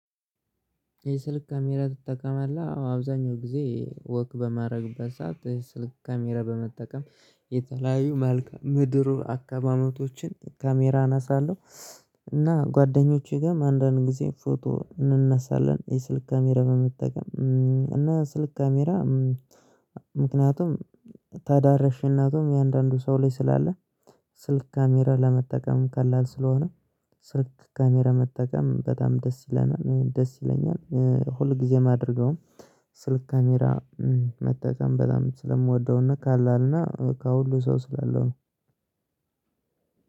የስልክ ካሜራ ትጠቀማለህ አዎ አብዛኛው ጊዜ ወክ በማድረግ ሰዓት የስልክ ካሜራ በመጠቀም የተለያዩ መልካም ምድሩ አካባቢዎችን ካሜራ እነሳለሁ። እና ጓደኞቼ ጋር አንደንድ ጊዜ ፎቶ እንነሳለን የስልክ ካሜራ በመጠቀም እና ስልክ ካሜራ። ምክንያቱም ተዳርሽነቱም እያንዳንዱ ሰው ላይ ስላለ ስልክ ካሜራ ለመጠቀም ቀላል ስለሆነ ስልክ ካሜራ መጠቀም በጣም ደስ ይለናል ደስ ይለኛል። ሁል ጊዜም አድርገው ስልክ ካሜራ መጠቀም በጣም ስለምወደውና ቀለል ከሁሉ ሰው ስላለው ነው።